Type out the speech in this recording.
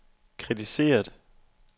kritiseret